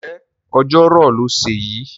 Ǹjẹ́ ọjọ́ rò lọ́sẹ̀ yìí?